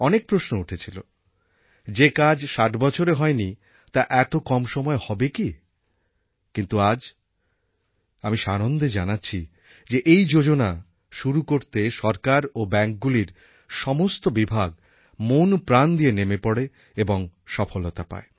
অনেক প্রশ্ন উঠেছিল যে কাজ ষাট বছরে হয় নি তা এত কম সময়ে হবে কি কিন্তু আজ আমি সানন্দে জানাচ্ছি যে এই যোজনা শুরু করতে সরকার ও ব্যাঙ্কগুলির সমস্ত বিভাগ মনপ্রাণ দিয়ে নেমে পড়ে এবং সফলতা পায়